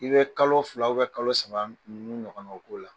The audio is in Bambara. I bɛ kalo fila kalo saba ninnu ɲɔgɔnna k'o la.